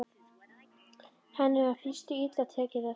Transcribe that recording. Henni var í fyrstu illa tekið af